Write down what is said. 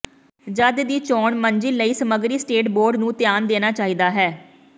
ਜਦ ਦੀ ਚੋਣ ਮੰਜ਼ਿਲ ਲਈ ਸਮੱਗਰੀ ਸਟੇਟ ਬੋਰਡ ਨੂੰ ਧਿਆਨ ਦੇਣਾ ਚਾਹੀਦਾ ਹੈ